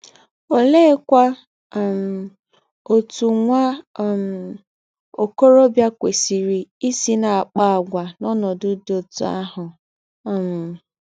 Oleekwa um otú nwa um okorobịa kwesịrị isi na-akpa àgwà n'ọnọdụ dị otú ahụ? um